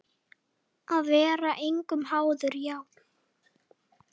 Að vera engum háður, já.